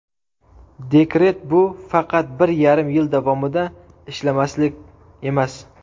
Dekret bu faqat bir yarim yil davomida ishlamaslik emas.